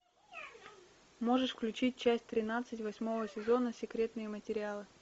можешь включить часть тринадцать восьмого сезона секретные материалы